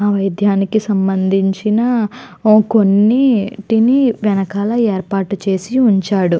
ఆ వైద్యానికి సంబంధించిన కొన్నిటిని వెనకాల ఏర్పాటు చేసి ఉంచాడు.